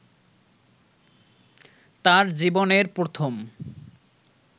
তার জীবনের প্রথম